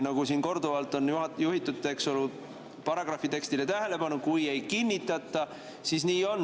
Siin on korduvalt juhitud tähelepanu paragrahvi tekstile, et kui ei kinnitata, siis nii on.